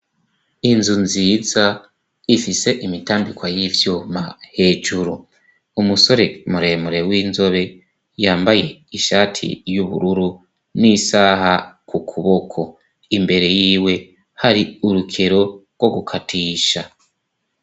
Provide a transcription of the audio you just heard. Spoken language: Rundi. Inzu nziza ifise imitambikwa y'ivyuma hejuru umusore muremure w'inzobe yambaye ishati y'ubururu n'isaha ku kuboko imbere yiwe hari urukero rwo gukatisha.